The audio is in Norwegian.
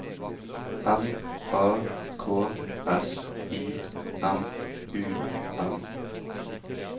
M A K S I M U M